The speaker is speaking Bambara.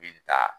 Bi taa